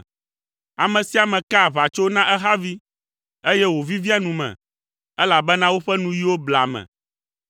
Ame sia ame kaa aʋatso na ehavi, eye wovivia nu me, elabena woƒe nuyiwo blea ame.